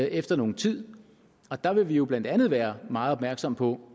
efter nogen tid og der vil vi jo blandt andet være meget opmærksomme på